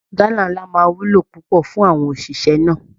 Gálà ńlá máa wúlò púpọ̀ fún àwọn òṣìṣẹ́ náà